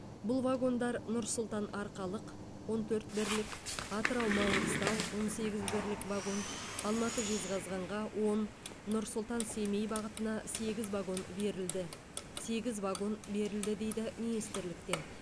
бұл вагондар нұр сұлтан арқалық он төрт бірлік атырау маңғыстау он сегіз бірлік вагон алматы жезқазғанға он нұр сұлтан семей бағытына сегіз багон берілді сегіз вагон берілді дейді министрліктен